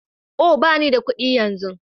Oh! ɓani da kuɗi yanzu.